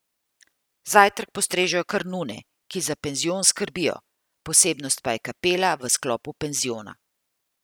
Zajtrk postrežejo kar nune, ki za penzion skrbijo, posebnost pa je kapela v sklopu penziona.